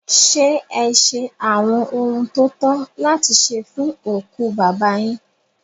Ṣé ẹ ṣe àwọn ohun tó tọ́ láti ṣe fún òkú bàbá yín?